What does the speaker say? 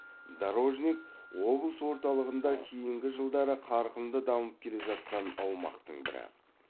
дорожник облыс орталығында кейінгі жылдары қарқынды дамып келе жатқан аумақтың бірі